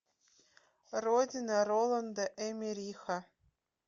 родина роланда эммериха